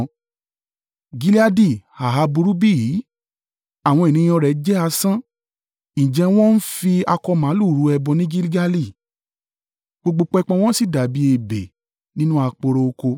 Gileadi ha burú bí? Àwọn ènìyàn rẹ̀ jẹ́ asán. Ǹjẹ́ wọ́n ń fi akọ màlúù rú ẹbọ ní Gilgali? Gbogbo pẹpẹ wọ́n sì dàbí ebè nínú aporo oko.